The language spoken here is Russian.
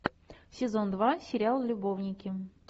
сезон два сериал любовники